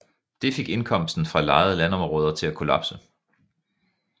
Det fik indkomsten fra lejede landområder til at kollapse